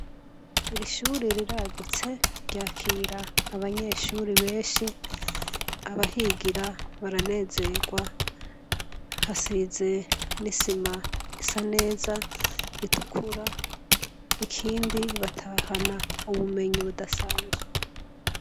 Irishuri riragutse ryakira abanyeshuri benshi abahigira baranezerwa hasize n'isima isa neza ritukura ikindi batahana ubumenyi budasanzwe.